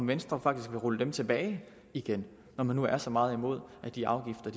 venstre faktisk rulle dem tilbage igen når man nu er så meget imod at de afgifter